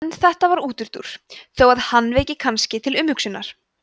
en þetta var útúrdúr þó að hann veki kannski til umhugsunar